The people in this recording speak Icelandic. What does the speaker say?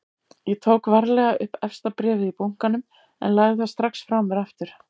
Ég tók varlega upp efsta bréfið í bunkanum en lagði það strax frá mér aftur.